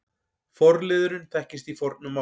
Forliðurinn þekkist í fornu máli.